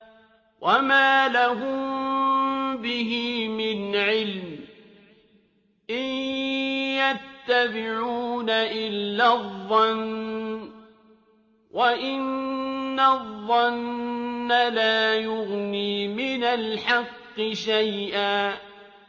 وَمَا لَهُم بِهِ مِنْ عِلْمٍ ۖ إِن يَتَّبِعُونَ إِلَّا الظَّنَّ ۖ وَإِنَّ الظَّنَّ لَا يُغْنِي مِنَ الْحَقِّ شَيْئًا